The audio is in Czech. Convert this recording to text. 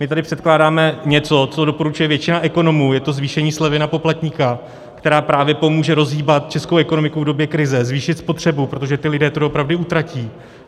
My tady předkládáme něco, co doporučuje většina ekonomů, je to zvýšení slevy na poplatníka, které právě pomůže rozhýbat českou ekonomiku v době krize, zvýšit spotřebu, protože ti lidé to doopravdy utratí.